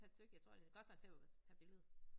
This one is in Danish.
Per styk jeg tror det koster en femmer per billede